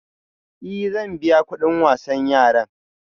Ee, zan biya kuɗin kayan wasan yara